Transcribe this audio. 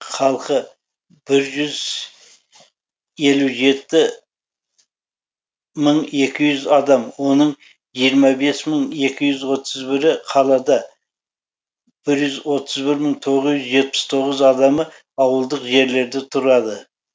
халқы бір жүз елу жеті мың екі жүз адам оның жиырма бес мың екі жүз отыз бірі қалада бір жүз отыз бір мың тоғыз жүз жетпіс тоғыз адамы ауылдық жерлерде тұрады